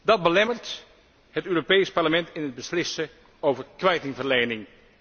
Dat belemmert het Europees Parlement in het beslissen over kwijtingverlening.